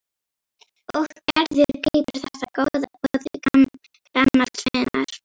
Og Gerður grípur þetta góða boð gamals vinar.